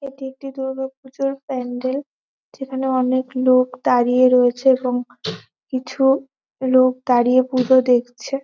এটি একটি দুর্গোপূজার প্যান্ডেল যেখানে অনেক লোক দাঁড়িয়ে রয়েছে এবং কিছু লোক দাঁড়িয়ে পূজো দেখছে।